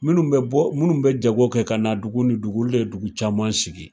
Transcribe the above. Minnu bɛ bɔ minnu bɛ jago kɛ ka na dugu ni dugu olu de dugu caman sigi